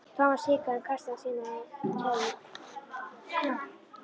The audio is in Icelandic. Thomas hikaði en kastaði síðan á hann kveðju.